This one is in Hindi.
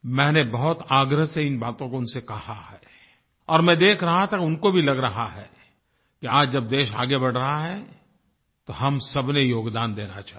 मैंने बहुत आग्रह से इन बातों को उनसे कहा है और मैं देख रहा था कि उनको भी लग रहा है कि आज जब देश आगे बढ़ रहा है तो हम सबने योगदान देना चाहिए